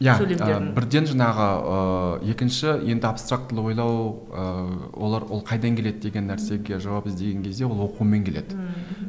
бірден жаңағы ыыы екінші енді абстрактілі ойлау ыыы олар ол қайдан келеді деген нәрсеге жауап іздеген кезде ол оқумен келеді ммм мхм